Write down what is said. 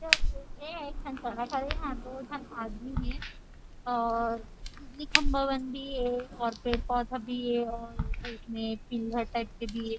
एह एक ठन सड़क हरे यहाँ दो झन आदमी हे और बिजली खम्भा मन भी हे और पेड़ -पौधा भी हेऔर उठने पिनहर टाइप के भी हरे ।